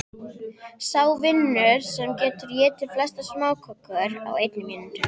Sá vinnur sem getur étið flestar smákökur á einni mínútu.